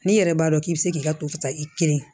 N'i yɛrɛ b'a dɔn k'i bɛ se k'i ka tosa i kelen